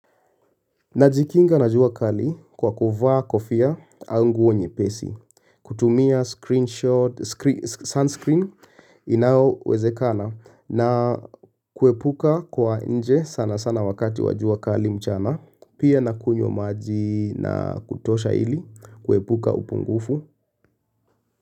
Najikinga na jua kali kwa kuvaa kofia ua nguo nyepesi, kutumia sunscreen inao wezekana na kuepuka kuwa nje sana sana wakati wa jua kali mchana, pia na kunywa maji na kutosha ili kuepuka upungufu.